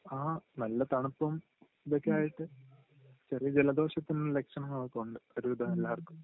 ആഹ് നല്ല തണുപ്പും ഇതൊക്കെ ആയിട്ട് ചെറിയ ജലദോഷത്തിൻ്റെ ലക്ഷണങ്ങൾ ഒക്കെ ഉണ്ട് ഒരു വിധം എല്ലാർക്കും